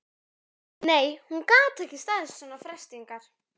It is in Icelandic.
Nei, hún gat ekki staðist svona freistingar.